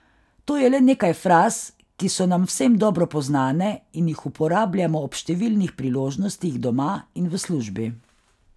To je le nekaj fraz, ki so nam vsem dobro poznane in jih uporabljamo ob številnih priložnostih doma in v službi.